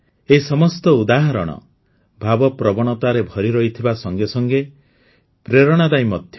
ଏହି ସମସ୍ତ ଉଦାହରଣ ଭାବପ୍ରବଣତାରେ ଭରି ରହିଥିବା ସଙ୍ଗେ ସଙ୍ଗେ ପ୍ରେରଣାଦାୟୀ ମଧ୍ୟ